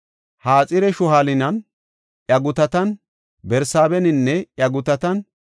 Haxar-Shu7aalaninne iya gutatan, Barsaabeninne iya gutatan,